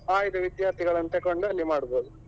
ಆಯ್ದ ವಿದ್ಯಾರ್ಥಿಗಳನ್ನು ತೆಕೊಂಡು ಅಲ್ಲಿ ಮಾಡ್ಬಹುದು.